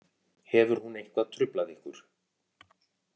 Hefur hún eitthvað truflað ykkur